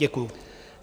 Děkuji.